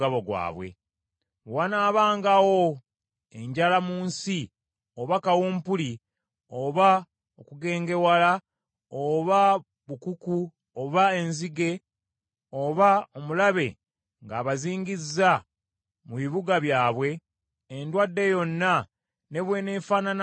“Bwe wanaabangawo enjala mu nsi, oba kawumpuli, oba okugengewala oba bukuku, oba enzige, oba omulabe ng’abazingizza mu bibuga byabwe, endwadde yonna ne bweneefaanananga etya,